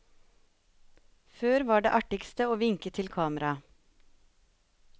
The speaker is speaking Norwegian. Før var det artigste å vinke til kamera.